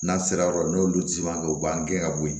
N'an sera yɔrɔ dɔ la n'olu si man kɛ u b'an gɛn ka bɔ yen